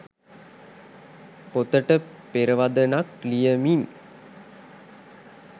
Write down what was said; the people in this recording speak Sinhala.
පොතට පෙරවදනක් ලියමින්